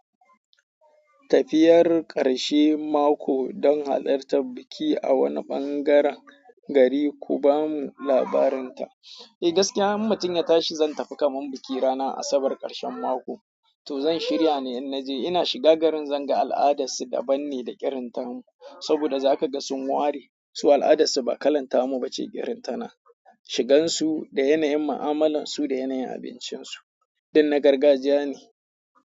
Tafiyar ƙarshe mako don halartar biki a wani ɓangaren gari, ku ba mu labarin ta. Eh gaskiya in mutum ya tashi zan tafi kamar biki ranar asabar karshen mako to zan shirya ne in naje ina shiga garin zan ga al'adarsu daban ne da irinta mu. Saboda za ka ga sun ware su al'adarsu ba kalanta mu ba ce irinta na. Shigan su da yanayin mu'amalansu da yanayin abincinsu. Duk na gargajiya ne.